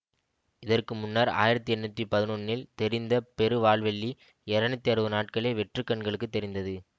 இதற்கு முன்னர் ஆயிரத்தி எண்ணூற்றி பதினொன்னில் தெரிந்த பெரு வால்வெள்ளி இருநூற்றி அறுபது நாட்களே வெற்று கண்களுக்கு தெரிந்தது